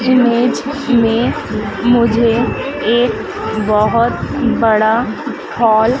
image में मुझे एक बहुत बड़ा हाल --